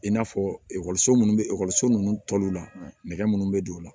I n'a fɔ ekɔliso munnu be ekɔliso nunnu ta olu la nɛgɛ munnu bɛ don o la